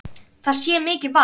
Það sé mikið vald.